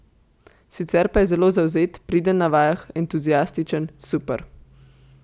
Sicer pa je zelo zavzet, priden na vajah, entuziastičen, super.